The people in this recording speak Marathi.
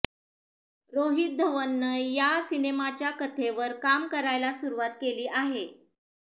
रोहित धवननं या सिनेमाच्या कथेवर काम करायला सुरुवात केली आहे